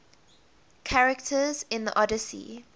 characters in the odyssey